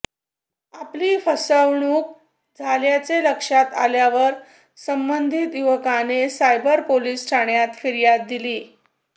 आपली फसवणूक झाल्याचे लक्षात आल्यावर संबंधित युवकाने सायबर पोलिस ठाण्यात फिर्याद दिली